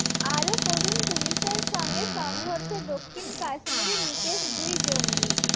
আরও পড়ুন পুলিসের সঙ্গে সংঘর্ষে দক্ষিণ কাশ্মীরে নিকেশ দুই জঙ্গি